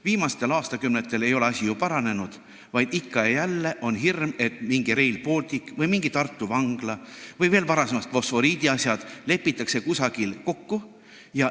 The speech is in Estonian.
Viimastel aastakümnetel ei ole asi ju paranenud, vaid ikka ja jälle on hirm, et mingi Rail Baltic või mingi Tartu vangla või – veel varasemast ajast – mingid fosforiidiasjad lepitakse kuskil kokku.